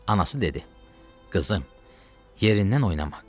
Anası dedi: qızım, yerindən oynama.